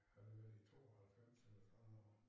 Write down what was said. Havde det været i 92 eller sådan noget